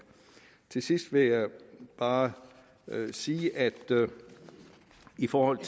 til sidst vil jeg bare sige at i forhold